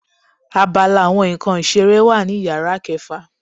Àbàlá awọn nkán ìseré wa ní ìyára kẹfa